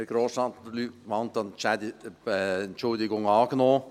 Herr Grossrat Luc Mentha, die Entschuldigung ist angenommen.